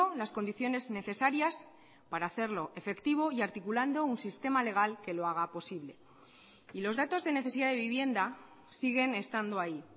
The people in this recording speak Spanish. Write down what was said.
las condiciones necesarias para hacerlo efectivo y articulando un sistema legal que lo haga posible y los datos de necesidad de vivienda siguen estando ahí